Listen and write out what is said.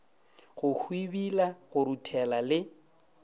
go hwibila go ruthela le